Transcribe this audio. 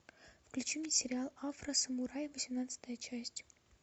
включи мне сериал афросамурай восемнадцатая часть